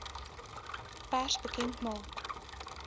pers bekend maak